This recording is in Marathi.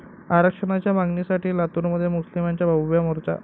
आरक्षणाच्या मागणीसाठी लातूरमध्ये मुस्लिमांचा भव्य मोर्चा